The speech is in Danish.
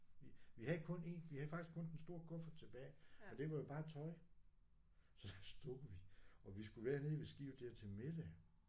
Vi vi havde kun én vi havde faktisk kun den store kuffert tilbage og det var jo bare tøj. Så stod vi og vi skulle være nede ved skibet der til middag